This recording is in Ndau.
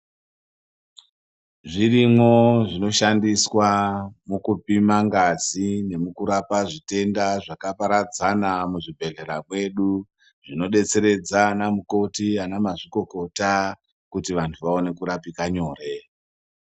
Zvirimwo zvino shandiswa muku pima ngazi ne mukurapa zvitenda zvaka paradzana mu zvibhedhlera mwedu zvino detseredza ana mukoti ana mazvikokota kuti vantu vaone kurapike nyore.